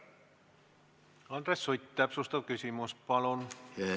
Andres Sutt, täpsustav küsimus, palun!